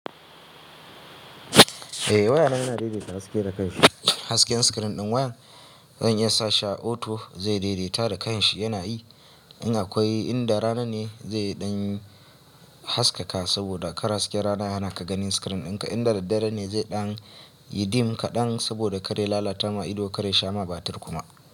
Eh wayana yana daidaita haske da kan shi. Hasken screen ɗin wayan zan iya sa shi a auto zai daidaita da kan shi yana yi. In akwai inda rana ne zai ɗan haskaka saboda kar hasken rana ya hanaka ganin screen ɗinka. Inda daddare ne zai ɗan yi dim kaɗan saboda kar ya lalata ma ido, kar ya sha ma batir kuma.